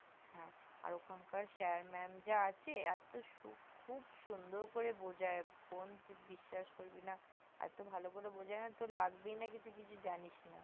আর ওখানকার sir mam যে আছে এত সুখুব সুন্দর করে বুজাই বোন তুই বিশ্বাস করবি না এত ভালো করে তোর লাগবেই না যে তোর লাগবেই না যে তুই কিছু জানিস না